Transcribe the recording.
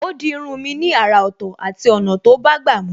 Ó di irun mi ni àrà Ọ̀tọ̀ àti ọ̀nà tó bágbà mu